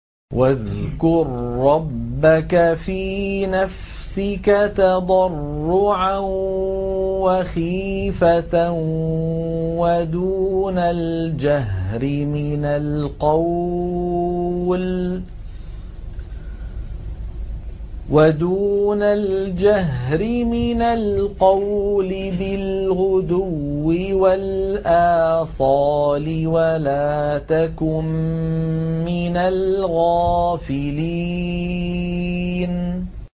وَاذْكُر رَّبَّكَ فِي نَفْسِكَ تَضَرُّعًا وَخِيفَةً وَدُونَ الْجَهْرِ مِنَ الْقَوْلِ بِالْغُدُوِّ وَالْآصَالِ وَلَا تَكُن مِّنَ الْغَافِلِينَ